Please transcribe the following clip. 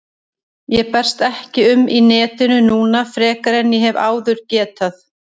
Ég berst ekki um í netinu núna frekar en ég hef áður getað.